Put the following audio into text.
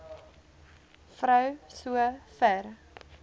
vrou so ver